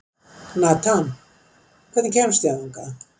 Nathan, hvernig kemst ég þangað?